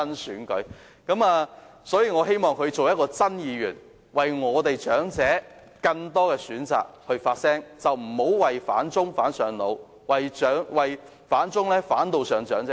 我倒希望他成為"真議員"，可以為了令長者有更多選擇而發聲，不要"反中上腦"，為了反中而禍及長者。